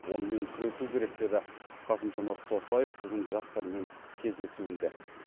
онымен күресу керек деді қасым жомарт тоқаев бүгін жастармен кездесуінде